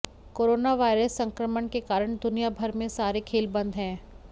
corona virus संक्रमण के कारण दुनिया भर में सारे खेल बंद हैं